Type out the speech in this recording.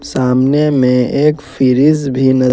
सामने में एक फ्रिज भी ल --